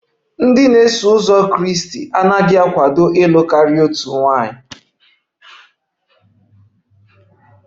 Iso uzọ Kraịst anaghị akwado ịlụ karịa otu nwaanyị